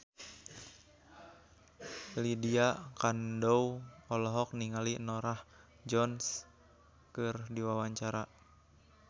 Lydia Kandou olohok ningali Norah Jones keur diwawancara